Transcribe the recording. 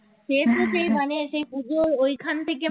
সে তো সেই মানে পূজো ওইখান থেকে